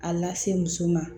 A lase muso ma